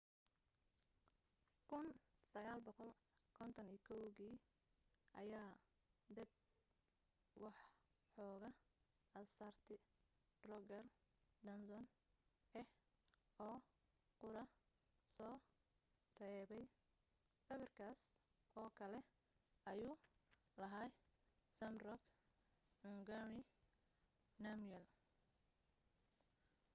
1951 kii ayaa dab waxooga asaartii drukgyal dzong ah oo qura soo reebay sawirkaas oo kale ayuu lahaa zhabdrung ngawang namgyel